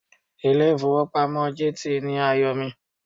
Ilé ìfowópamọ́ GT ni àyò mi.